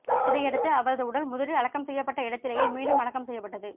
இதையடுத்து அவரது உடல் முதலில் அடக்கம் செய்யப்பட்ட இடத்திலேயே மீண்டும் அடக்கம் செய்யப்பட்டது